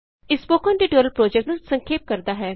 ਇਹ spoken tutorial project ਨੂੰ ਸੰਖੇਪ ਕਰਦਾ ਹੈ